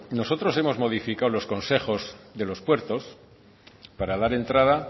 nosotros hemos modificado los concejos de los puertos para dar entrada